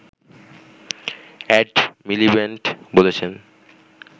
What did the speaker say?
add Miliband বলেছেন